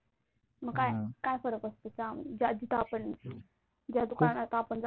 मग काय फरक असतो चहामध्ये जिथ आपण ज्या दुकानात आपण